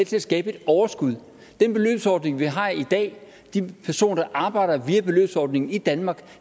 til at skabe et overskud den beløbsordning vi har i dag de personer der arbejder via beløbsordningen i danmark